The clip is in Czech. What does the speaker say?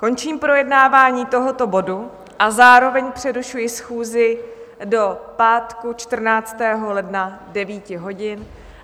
Končím projednávání tohoto bodu a zároveň přerušuji schůzi do pátku 14. ledna, 9 hodin.